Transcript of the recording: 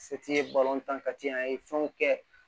ye an ye fɛnw kɛ